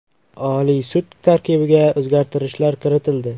Oliy sud tarkibiga o‘zgartirishlar kiritildi.